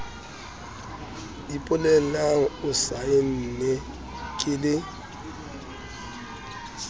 ipolelang o saenne ke le